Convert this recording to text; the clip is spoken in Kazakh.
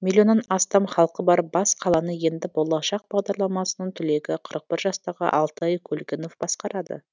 миллионнан астам халқы бар бас қаланы енді болашақ бағдарламасының түлегі қырық бір жастағы алтай көлгінов басқарады